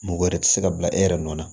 Mɔgɔ wɛrɛ tɛ se ka bila e yɛrɛ nɔ na